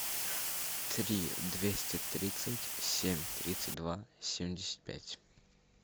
три двести тридцать семь тридцать два семьдесят пять